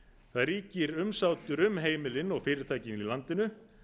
það ríkir umsátur um heimilin og fyrirtækin í landinu